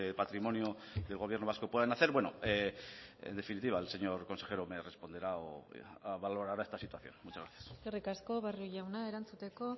patrimonio del gobierno vasco puedan hacer bueno en definitiva el señor consejero me responderá o valorará esta situación muchas gracias eskerrik asko barrio jauna erantzuteko